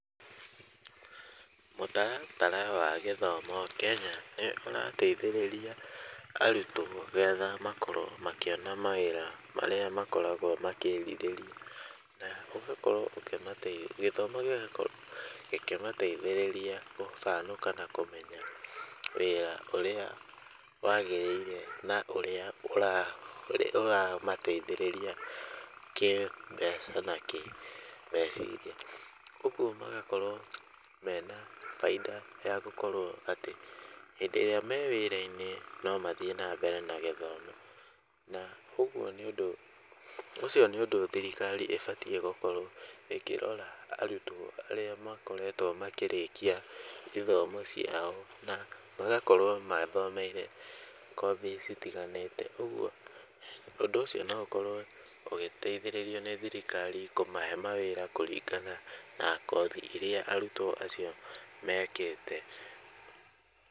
Mũtaratara wa gĩthomo Kenya nĩũrateithĩrĩria arutwo getha makorwo makĩona mawĩra marĩa makoragwo makĩrirĩria na ũgakorwo ũkĩmateithia gĩthomo gĩgakorwo gĩkĩmateithĩrĩria gũcanũka na kũmenya wĩra ũrĩa wagĩrĩire na ũrĩa ũramateithĩrĩria kĩmbeca na kĩmeciria. Ũguo magakorwo mena bainda ya gũkorwo atĩ hĩndĩ ĩrĩa me wĩra-inĩ no mathiĩ na mbere na gĩthomo na ũguo nĩ ũndũ ũcio nĩ ũndũ thirikari ĩbatiĩ gũkorwo ĩkĩrora arutwo arĩa makoretwo makĩrĩkia ithomo ciao na magakorwo mathomeire kothi citiganĩte. Ũguo ũndũ ũcio no ũkorwo ũgĩteithĩrĩrio nĩ thirikari kũmahe mawĩra kũringana na kothi iria arutwo acio mekĩte.